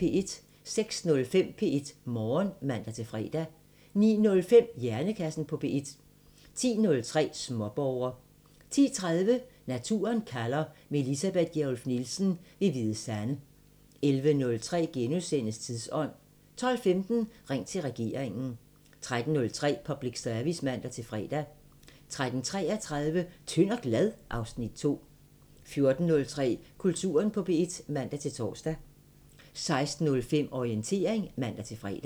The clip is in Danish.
06:05: P1 Morgen (man-fre) 09:05: Hjernekassen på P1 10:03: Småborger 10:30: Naturen kalder – med Elisabeth Gjerluff Nielsen ved Hvide Sande 11:03: Tidsånd * 12:15: Ring til regeringen 13:03: Public Service (man-fre) 13:33: Tynd og glad? (Afs. 2) 14:03: Kulturen på P1 (man-tor) 16:05: Orientering (man-fre)